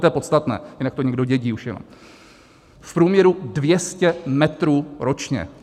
To je podstatné, jinak to někdo dědí už jenom: v průměru 200 metrů ročně.